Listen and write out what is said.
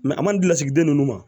a man deli lasigi den ninnu ma